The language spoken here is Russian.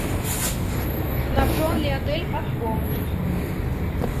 снабжен ли отель катком